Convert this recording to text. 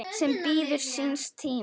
sem bíður síns tíma